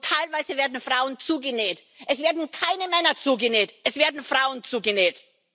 Und teilweise werden Frauen zugenäht, es werden keine Männer zugenäht, es werden Frauen zugenäht.